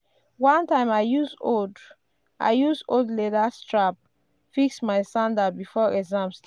one time i use old i use old leather strap fix my sandal before exam start.